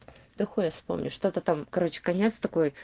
да хуй я вспомню что-то там короче конец такой